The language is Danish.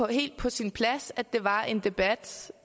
helt på sin plads at der var en debat